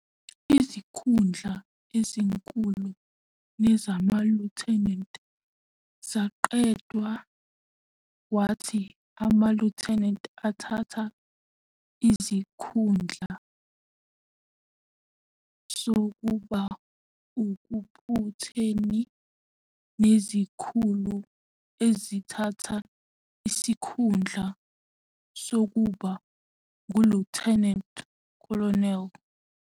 Izikhundla ezinkulu nezama-lieutenant zaqedwa, kwathi ama-lieutenant athatha isikhundla sokuba ukaputeni nezikhulu ezithatha isikhundla sokuba ngu-lieutenant colonel.